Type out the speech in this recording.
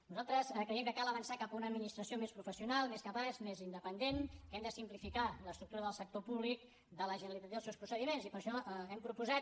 nosaltres creiem que cal avançar cap a una administració més professional més capaç més independent que hem de simplificar l’estructura del sector públic de la generalització dels seus procediments i per això hem proposat